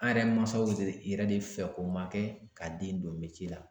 An yɛrɛ mansaw yɛrɛ de fɛ ko ma kɛ ka den don la.